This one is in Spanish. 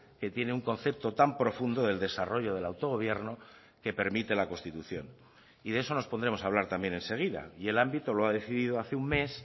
que tiene un concepto tan profundo del desarrollo del autogobierno que permite la constitución y de eso nos pondremos a hablar también enseguida y el ámbito lo ha decidido hace un mes